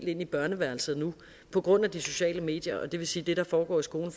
ind i børneværelset på grund af de sociale medier og det vil sige at det der foregår i skolen